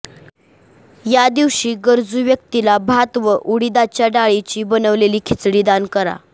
या दिवशी गरजू व्यक्तीला भात व उडीदाच्या डाळीची बनवलेली खिचडी दान करा